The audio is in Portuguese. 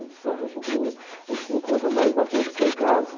Eu disse, olha, a gente hum a gente se encontra mais na rua do que em casa.